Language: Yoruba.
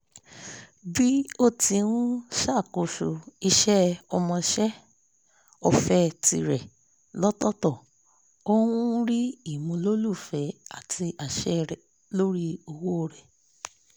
bí ó ti ń ṣàkóso iṣẹ́ ọmọṣẹ́-ọ̀fẹ́ tirẹ̀ lọ́tọ̀ọ́tọ̀ ó ń rí ìmúlòlùfẹ́ àti àṣẹ lórí owó rẹ̀